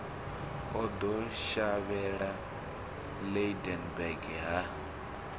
o ḓo shavhela lydenburg ha